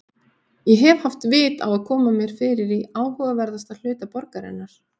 Ég hef haft vit á að koma mér fyrir í áhugaverðasta hluta borgarinnar